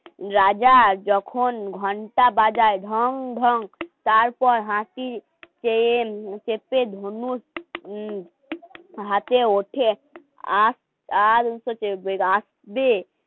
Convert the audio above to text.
রাজা যখন ঘণ্টা বাজায় ঢং ঢং তারপর হাসিটে মুখ চেপে ধুনু উম হাতে ওঠে আর